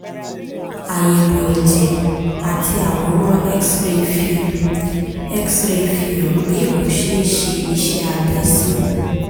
àyẹ̀wò ẹ̀jẹ̀ àti àwòrán x-ray fi x-ray fi hàn pé kò ṣe é ṣe iṣẹ́ abẹ sí